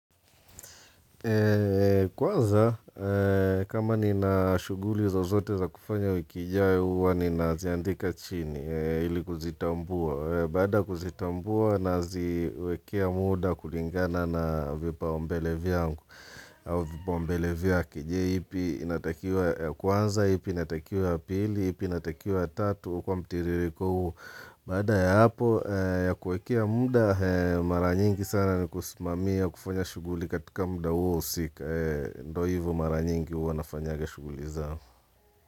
Kwanza kama nina shuguli zozote za kufanya wiki ijao uwa ni naziandika chini ili kuzitambua Baada ya kuzitambua naziwekea muda kulingana na vipa umbele vyangu au vipa umbele vyake je ipi inatakiwa ya kwanza, ipi inatakiwa ya pili, ipi inatakiwa ya tatu kwa mtiririko huo, baada ya hapo ya kuwekea muda maranyingi sana ni kusumamia kufanya shuguli katika muda huo husika, ndo hivo maranyingi huwa nafanyaga shuguliza.